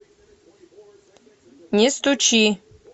не стучи